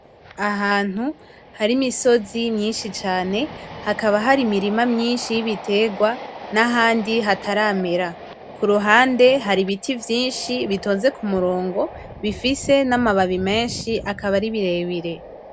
Ahantu hari imisozi myinshi cane , hakaba hari imirima myinshi yibiterwa nahandi hataramera , kuruhande hari ibiti vyinshi bitonze kumurongo bifise namababi menshi akaba ari birebire.